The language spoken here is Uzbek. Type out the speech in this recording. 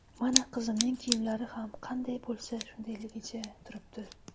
Mana, qizimning kiyimlari ham qanday bo‘lsa shundayligicha turibdi.